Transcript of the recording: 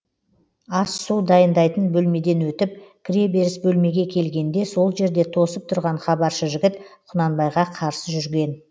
ас су дайындайтын бөлмеден өтіп кіреберіс бөлмеге келгенде сол жерде тосып тұрған хабаршы жігіт құнанбайға қарсы жүрген